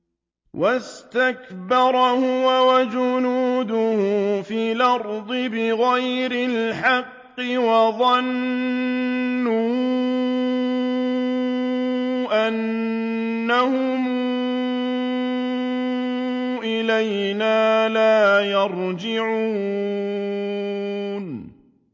وَاسْتَكْبَرَ هُوَ وَجُنُودُهُ فِي الْأَرْضِ بِغَيْرِ الْحَقِّ وَظَنُّوا أَنَّهُمْ إِلَيْنَا لَا يُرْجَعُونَ